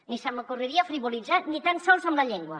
ni se m’ocorreria frivolitzar ni tan sols amb la llengua